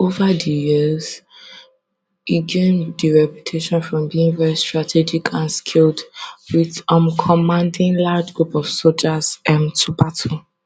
ova di years e gain di reputation from being very strategic and skilled wit um commanding large group of sojas um to battle